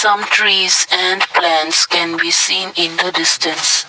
some trees and plants can be seen in the distance.